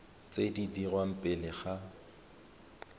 tse di dirwang pele ga